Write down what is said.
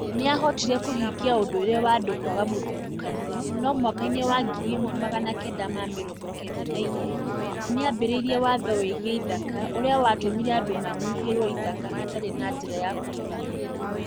Nĩ aahotire kũhingia ũndũire wa andũ kwaga mũthutũkanio, no mwaka-inĩ wa ngiri ĩmwe magana kenda ma mĩrongo kenda na ĩgĩrĩ nĩ aambĩrĩirie watho wĩgiĩ ithaka ũrĩa watũmire andũ manyihĩrũo ithaka hatarĩ na njĩra ya kũrũgamĩrĩra.